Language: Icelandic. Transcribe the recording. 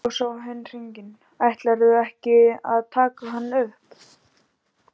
Þá sá hin hringinn: Ætlarðu ekki að taka hann upp?